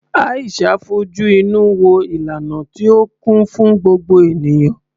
Aisha fojú inú wo ìlànà tí ó kún fún gbogbo ènìyàn.